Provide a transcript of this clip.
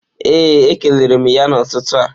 Ee e kelere m ya n'ụtụtụ a